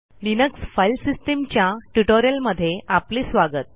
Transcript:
Linux file सिस्टीमच्या ट्युटोरियलमध्ये आपले स्वागत